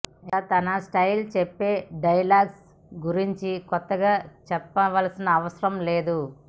ఇక తన స్టైల్ చెప్పే డైలాగ్స్ గురించి కొత్తగా చెప్పనవసరం లేదు